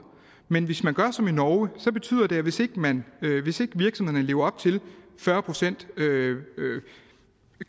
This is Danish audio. men hvis man gør som i norge betyder det at hvis ikke man lever op til fyrre procent